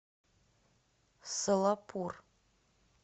солапур